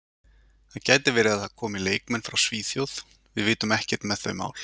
Það gæti verið að það komi leikmenn frá Svíþjóð, við vitum ekkert með þau mál.